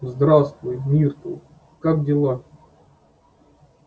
здравствуй миртл как дела